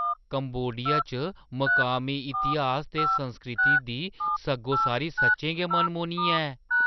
Cambodia च मकामी इतिहास ते संस्कृति दी सग्गोसारी सच्चें गै मनमोह्‌नी ऐ।